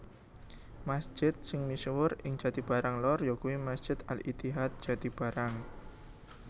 Masjid sing misuwur ing Jatibarang Lor yakuwi Masjid Al Ittihad Jatibarang